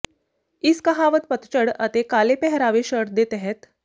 ਇਸ ਕਹਾਵਤ ਪਤਝੜ ਅਤੇ ਕਾਲੇ ਪਹਿਰਾਵੇ ਸ਼ਰਟ ਦੇ ਤਹਿਤ